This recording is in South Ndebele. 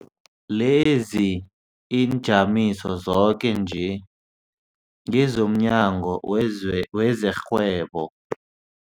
Leziinjamiso zoke nje ngezomNyango wezeRhwebo,